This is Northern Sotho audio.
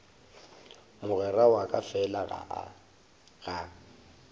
mogwera wa ka fela ga